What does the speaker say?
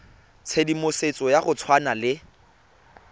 tshedimosetso ya go tshwana le